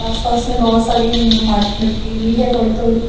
आसपास में बहोत सारी मा मिट्टी भी है थोड़ी थोड़ी।